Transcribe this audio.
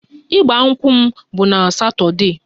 Ịgba nkwụ m bụ na satọdee